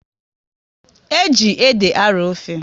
E ji ede a arọ ofe